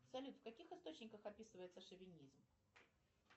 салют в каких источниках описывается шовинизм